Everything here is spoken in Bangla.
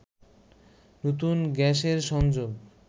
নতুন গ্যাসের সংযোগ